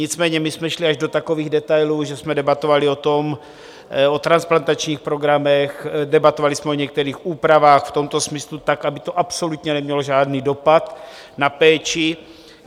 Nicméně my jsme šli až do takových detailů, že jsme debatovali o transplantačních programech, debatovali jsme o některých úpravách v tomto smyslu, tak aby to absolutně nemělo žádný dopad na péči.